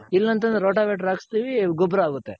ಇಲ್ಲ ಅಂತ್ ಅಂದ್ರೆ ಹಾಕಸ್ತಿವಿ ಗೊಬ್ರ ಆಗುತ್ತೆ.